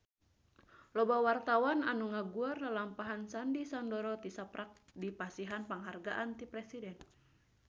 Loba wartawan anu ngaguar lalampahan Sandy Sandoro tisaprak dipasihan panghargaan ti Presiden